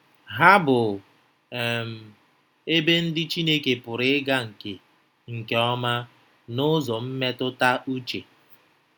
Ha bụ um ebe ndị Chineke pụrụ ịga nke nke ọma n’ụzọ mmetụta uche.